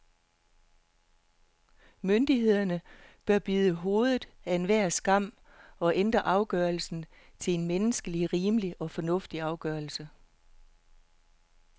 Myndighederne bør bide hovedet af enhver skam og ændre afgørelsen til en menneskeligt rimelig og fornuftig afgørelse.